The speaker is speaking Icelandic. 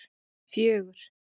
fjögur